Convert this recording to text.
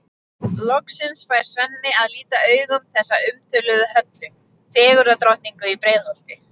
Hann kastaði miðanum í gólfið og hrópaði: Ég féllst aldrei á að varpa hlutkesti.